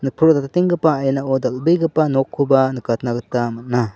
nikprotatenggipa ainao dal·begipa nokkoba nikatna gita man·a.